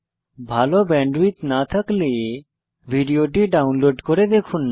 ভাল ব্যান্ডউইডথ না থাকলে ভিডিওটি ডাউনলোড করে দেখুন